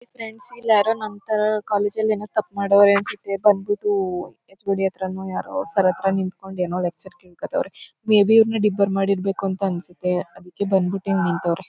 Friends ಇಲ್ಯಾರೋ ನಮ್ಮ್ ತರದವರು ಕಾಲೇಜಲ್ಲಿ ಏನೋ ತಪ್ಪು ಮಾಡವ್ರೆ ಅನ್ಸುತ್ತೆ ಬಂದ್ ಬಿಟ್ಟು ಎಚ್ಓಡಿ ಹತ್ರನೋ ಯಾರೋ ಸರ್ ಹತ್ರ ನಿಂತ್ಕೊಂಡು ಏನೋ ಲೆಕ್ಚರ್ ಕೇಳ್ಕೋತಾವ್ರೆ. ಮೇ ಬಿ ಒಬ್ಬನ್ನ ಡಿಬಾರ್ ಮಾಡಿರ್ಬೇಕು ಅನ್ಸುತ್ತೆ. ಅದ್ಕೆ ಇಲ್ಲಿ ಬಂದ್ ಬಿಟ್ಟು ನಿಂತವ್ರೆ.